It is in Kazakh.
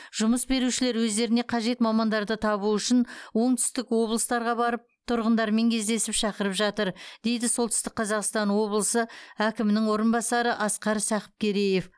жұмыс берушілер өздеріне қажет мамандарды табу үшін оңтүстік облыстарға барып тұрғындармен кездесіп шақырып жатыр дейді солтүстік қазақстан облысы әкімінің орынбасары асқар сақыпкереев